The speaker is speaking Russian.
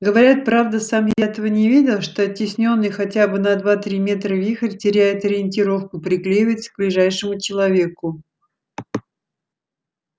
говорят правда сам я этого не видел что оттеснённый хотя бы на два-три метра вихрь теряет ориентировку приклеивается к ближайшему человеку